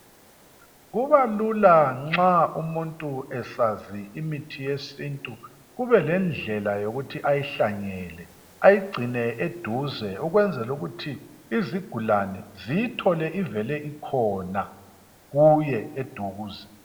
Kubalula nxa umuntu esazi imithi yesintu kubelendlela yokuthi ayihlangele ayigcine eduze ukwenzela ukuthi izigulane ziyithole ivele ikhona kuye eduze.